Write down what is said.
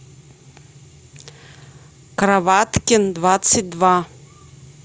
кроваткин двадцать два